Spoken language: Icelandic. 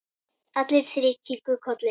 Allir þrír kinkuðu kolli.